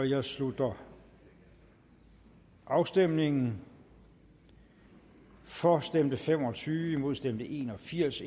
jeg slutter afstemningen for stemte fem og tyve imod stemte en og firs